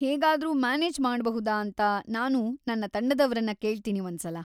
ಹೇಗಾದ್ರೂ ಮ್ಯಾನೇಜ್‌ ಮಾಡ್ಬಹುದಾ ಅಂತ ನಾನು ನಮ್ಮ ತಂಡದವರನ್ನ ಕೇಳ್ತೀನಿ ಒಂದ್ಸಲ.